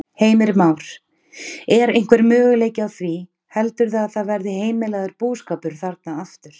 Heimir Már: Er einhver möguleiki á því heldurðu að það verði heimilaður búskapur þarna aftur?